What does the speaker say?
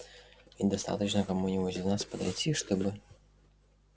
и достаточно кому-нибудь из нас подойти чтобы